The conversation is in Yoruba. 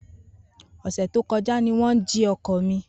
Ose to koja ni won ji oko mi.